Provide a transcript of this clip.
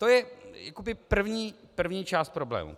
To je jakoby první část problému.